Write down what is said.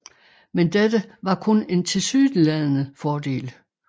Men dette var kun en tilsyneladende fordel